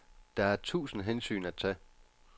Der er tusind hensyn at tage.